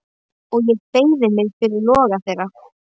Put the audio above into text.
Og ég beygi mig fyrir loga þeirra.